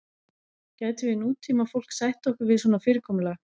gætum við nútímafólk sætt okkur við svona fyrirkomulag